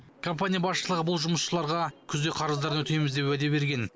компания басшылығы бұл жұмысшыларға күзде қарыздарын өтейміз деп уәде берген